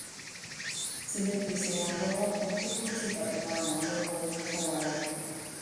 ti le pèsè ìrànlówó fún un dípò tí ì bá fi máa ràn án lówó owó fúnra rè